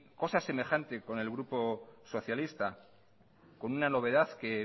cosa semejante con el grupo socialista con una novedad que